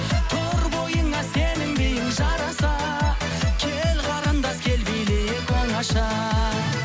тұр бойыңа сенің биің жараса кел қарындас кел билейік оңаша